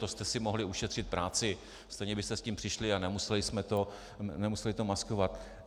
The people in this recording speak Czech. To jste si mohli ušetřit práci, stejně byste s tím přišli a nemuseli jste to maskovat.